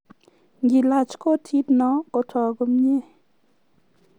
ngilaach kotino kotok komnye